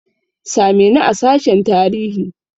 Same ni a sashen tarihi!